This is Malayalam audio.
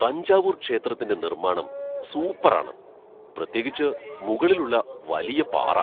തഞ്ചാവൂർ ക്ഷേത്രത്തിന്റെ നിർമ്മാണം സൂപ്പർ ആണ്, പ്രത്യേകിച്ച് മുകളിലുള്ള വലിയ പാറ.